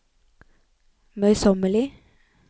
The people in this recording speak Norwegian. møysommelig